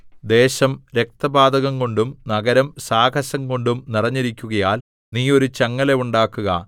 ദേശം രക്തപാതകംകൊണ്ടും നഗരം സാഹസംകൊണ്ടും നിറഞ്ഞിരിക്കുകയാൽ നീ ഒരു ചങ്ങല ഉണ്ടാക്കുക